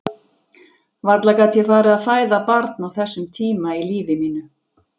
Varla gat ég farið að fæða barn á þessum tíma í lífi mínu.